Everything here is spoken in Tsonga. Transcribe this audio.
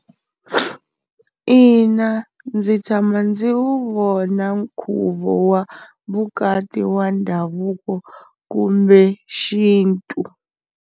Ina ndzi tshama ndzi wu vona nkhuvo wa vukati wa ndhavuko kumbe xintu.